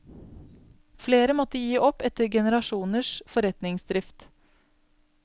Flere måtte gi opp etter generasjoners forretningsdrift.